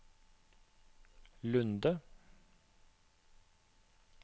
Lunde